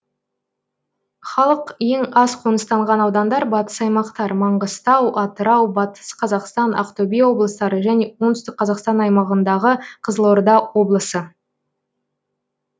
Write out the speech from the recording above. халық ең аз қоныстанған аудандар батыс аймақтар маңғыстау атырау батыс қазақстан ақтөбе облыстары және оңтүстік қазақстан аймағындағы қызылорда облысы